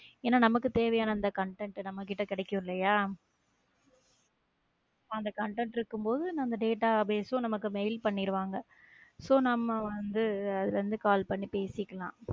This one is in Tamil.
ஏனா நமக்கு தேவையான அந்த content நம்ம கிட்ட கெடைக்கும் இல்லையா அந்த content இருக்கும்போது நம்ம database ம் நமக்கு mail பண்ணிடுவாங்க so நம்ம வந்து அதுல இருந்து call பண்ணி பேசிக்கலாம்